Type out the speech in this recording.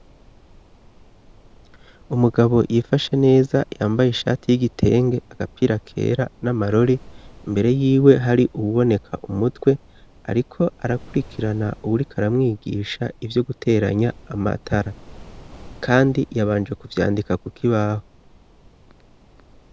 Umugabo yifashe neza yambaye ishati y'igitenge agapira kera n'amarore imbere yiwe hari uwuboneka umutwe, ariko arakurikirana uwuriko aramwigisha ivyo guteranya amatara, kandi yabanje kuvyandika ku kibaho.